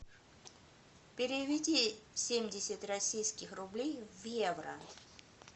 переведи семьдесят российских рублей в евро